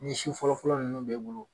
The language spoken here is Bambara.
Ni si fɔlɔfɔlɔ nunnu be bolo